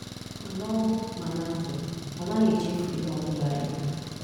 Mana ọnwụ mana ndụ, anaghị echefu ihe Obụla I bu.